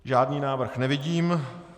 Žádný návrh nevidím.